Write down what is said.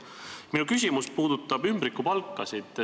Minu küsimus puudutab ümbrikupalkasid.